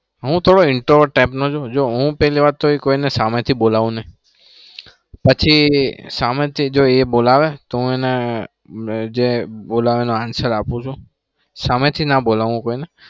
હું થોડો introvert type નો છું. જો હું પેલી વાત તો કોઈને સામેથી બોલવું નહી. પછી સામેથી જો એ બોલાવે તો હું એને જે બોલાવે એનો answer આપું છું. સામેથી ના બોલાવાય કોઈને